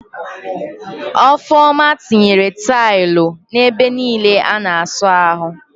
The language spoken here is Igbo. Ọfọma tinyere taịlụ n'ebe niile a na-asa ahụ